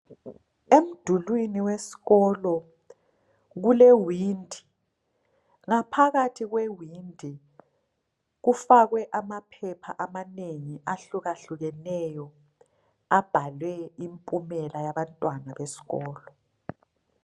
Emdulwini wesikolo kulewindi ngaphakathi kwewindi kufakwe amaphepha amanengi ahlukahlukeneyo abhalwe impumela yabantwana besikolo.